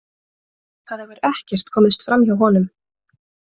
Það hefur ekkert komist framhjá honum.